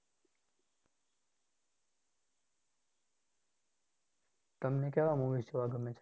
તમને કેવા movies જોવા ગમે છે?